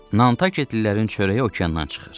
Nantaketlilərin çörəyi okeandan çıxır.